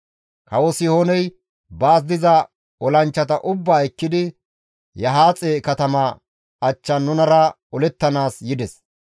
Kawo Sihooney baas diza olanchchata ubbaa ekkidi Yahaaxe katama achchan nunara olettanaas yides.